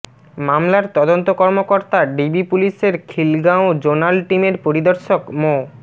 মামলার তদন্ত কর্মকর্তা ডিবি পুলিশের খিলগাঁও জোনাল টিমের পরিদর্শক মো